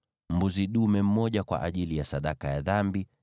mbuzi dume mmoja kwa ajili ya sadaka ya dhambi;